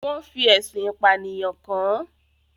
Wọ́n fi ẹ̀sùn ìpànìyàn kàn án.